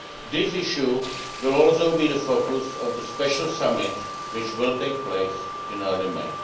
This issue will also be the focus of the special summit which will take place in early